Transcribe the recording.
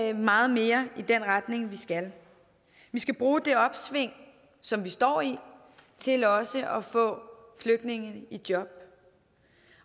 er meget mere i den retning vi skal vi skal bruge det opsving som vi står i til også at få flygtninge i job